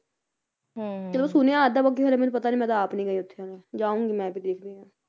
ਹੁੰ ਚਲੋ ਸੁਣਿਆ ਅੱਜ ਤਕ ਬਾਕੀ ਹਲੇ ਪਤਾ ਨੀਂ ਮੈਂ ਤਾਂ ਕਦੇ ਆਪ ਨੀ ਗਈ ਉੱਥੇ ਜਾਊਂਗੀ ਮੈਂ ਵੀ ਦੇਖਦੀ ਆ